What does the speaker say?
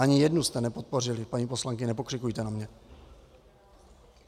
Ani jednu jste nepodpořili, paní poslankyně, nepokřikujte na mě.